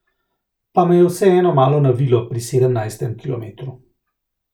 Pa me je vseeno malo navilo pri sedemnajstem kilometru.